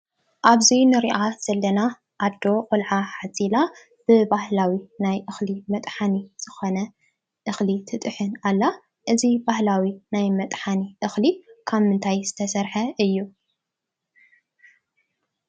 ኣብዚ ንሪኣ ዘለና ኣዶ ቆልዓ ሓዚላ ብባህላዊ ናይ እኽሊ መጥሓኒ ዝኾነ እኽሊ ትጥሕን ኣላ፡፡ እዚ ባህላዊ ናይ መጥሓኒ እኽሊ ካብ ምንታይ ዝተሰርሐ እዩ?